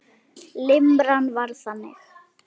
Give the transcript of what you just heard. Limran var þannig: